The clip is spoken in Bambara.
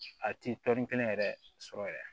A ti tɔni kelen yɛrɛ sɔrɔ yɛrɛ